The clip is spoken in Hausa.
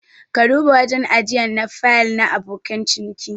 Ka duba wajen ajiyan na fayil na abokan ciniki.